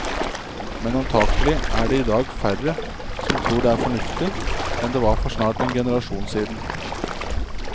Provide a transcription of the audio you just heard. Men antagelig er det i dag færre som tror det er fornuftig, enn det var for snart en generasjon siden.